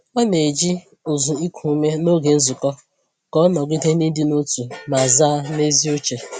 Ọ na-eji ụzụ iku ume n’oge nzukọ ka o nọgide na ịdị n’otu ma zaa n’ezi uche.